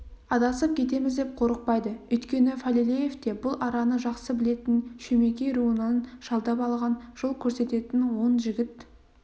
адасып кетеміз деп қорықпайды өйткені фалилеевте бұл араны жақсы білетін шөмекей руынан жалдап алған жол көрсететін он жігіт